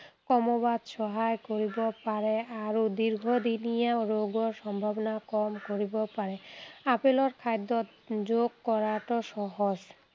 কমোৱাত সহায় কৰিব পাৰে আৰু দীৰ্ঘদিনীয়া ৰোগৰ সম্ভাৱনা কম কৰিব পাৰে। আপেলক খাদ্য়ত যোগ কৰাটো সহজ।